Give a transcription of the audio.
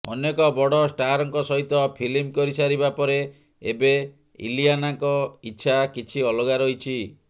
ଅନେକ ବଡ ଷ୍ଟାରଙ୍କ ସହିତ ଫିଲ୍ମ କରି ସାରିବା ପରେ ଏବେ ଇଲିଆନାଙ୍କ ଇଚ୍ଛା କିଛି ଅଲଗା ରହିଛି